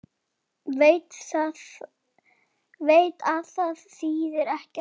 Veit að það þýðir ekkert.